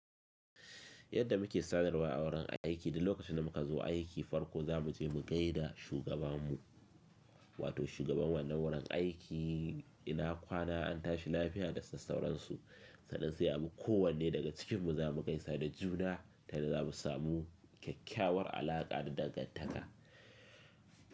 Yadda muke sanarwa a wurin aiki, da lokacin da muka zo aiki farko za mu je mu gai da shugaban mu, wato shugaban wannan wurin aiki. Ina kwana an tashi lafiya da sassauransu, sannan sai abu kowanne daga cikinmu za mu gaisa da juna, tana za mu samu kyakkyawar alaƙa da dangantaka.